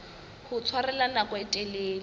ho tshwarella nako e telele